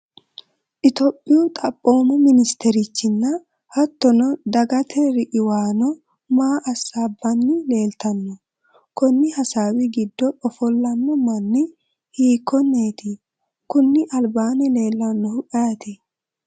topiyu xaphoomu ministerichinna hattono dagate riqiwamaano maa hasaabbanni leeltanno? konni hasaawi giddo ofollanno mannni hiikkonneeti? kuni albaanni leellannohu ayeeti ?